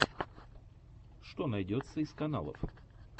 что найдется из каналов